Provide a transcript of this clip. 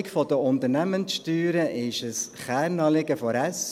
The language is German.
Die Sockelung der Unternehmenssteuern ist ein Kernanliegen der SP.